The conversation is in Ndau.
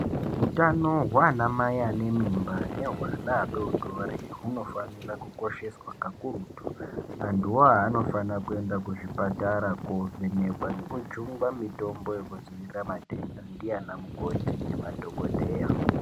Utano hwanamai anemimba nehwe ana adodori hunofanira kukosheswa kakurutu antuwo awa anofanira kuenda kuzvipatara kovhenekwa nekujungwa mitombo yekudzivirira matenda ndianamukoti nemadhokodheya.